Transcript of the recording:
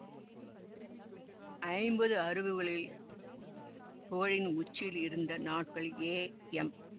ஐம்பது அறுதுகளில் புகழின் உச்சியில் இருந்த நாட்களில் ஏ எம்